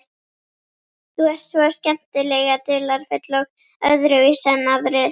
Þú ert svo skemmtilega dularfull og öðruvísi en aðrir.